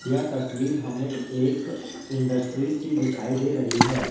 यह तस्वीर हमें एक इंडस्ट्रीज की दिखाई दे रही है।